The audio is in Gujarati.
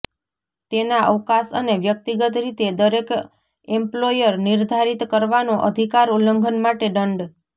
તેના અવકાશ અને વ્યક્તિગત રીતે દરેક એમ્પ્લોયર નિર્ધારિત કરવાનો અધિકાર ઉલ્લંઘન માટે દંડ